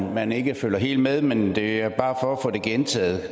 om man ikke følger helt med men det er bare for at få det gentaget